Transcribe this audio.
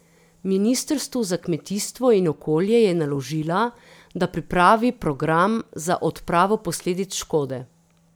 Ministrstvu za kmetijstvo in okolje je naložila, da pripravi program za odpravo posledic škode.